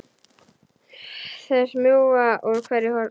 Þær smjúga úr hverju horni.